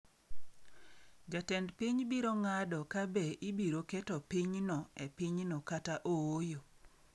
Jatend piny biro ng’ado ka be ibiro keto pinyno e pinyno kata ooyo.